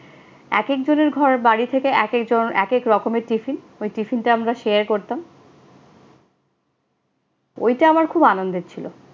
এক একজনের ঘর বাড়ি থেকে এক এক ধর একেক রকমের টিফিন, ওই টিফিনটা আমরা share করতাম। ওইটা আমার খুব আনন্দের ছিল।